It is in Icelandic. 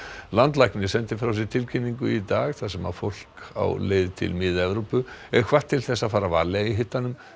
landlæknir sendi frá sér tilkynningu í dag þar sem fólk á leið til Mið Evrópu er hvatt til þess að fara varlega í hitanum